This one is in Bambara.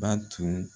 Ba tun